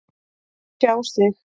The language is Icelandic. Tjá sig